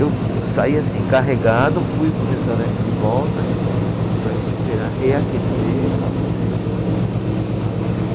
Eu saí assim, carregado, fui para o restaurante de volta para esperar reaquecer para poder o carro pegar.